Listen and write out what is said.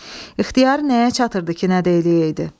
İxtiyarı nəyə çatırdı ki, nə edəydi.